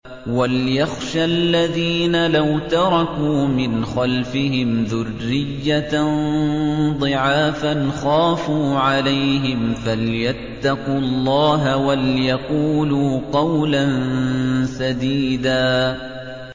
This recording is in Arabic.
وَلْيَخْشَ الَّذِينَ لَوْ تَرَكُوا مِنْ خَلْفِهِمْ ذُرِّيَّةً ضِعَافًا خَافُوا عَلَيْهِمْ فَلْيَتَّقُوا اللَّهَ وَلْيَقُولُوا قَوْلًا سَدِيدًا